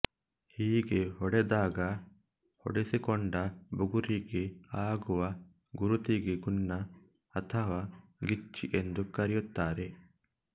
ಹೀಗೆ ಹೊಡೆದಾಗ ಹೊಡೆಸಿಕೊಂಡ ಬುಗುರಿಗೆ ಆಗುವ ಗುರುತಿಗೆ ಗುನ್ನ ಅಥವಾ ಗಿಚ್ಚಿ ಎಂದು ಕರೆಯುತ್ತಾರೆ